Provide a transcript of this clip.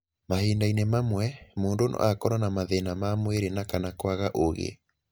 Mahinda-inĩ mamwe, mũndũ no akorũo na mathĩna ma mwĩrĩ na/kana kwaga ũũgĩ.